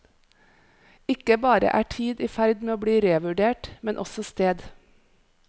Ikke bare er tid i ferd med å bli revurdert, men også sted.